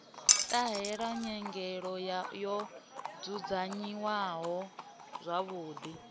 ṱahela nyelelo yo dzudzanyiwaho zwavhuḓi